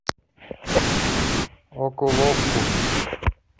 окуловку